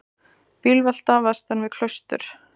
Bílvelta vestan við Klaustur